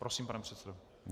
Prosím, pane předsedo.